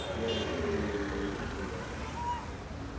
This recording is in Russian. белый клык был великолепен в своей ярости